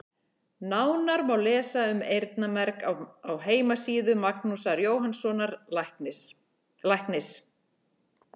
Nánar má lesa um eyrnamerg á heimasíðu Magnúsar Jóhannssonar læknis.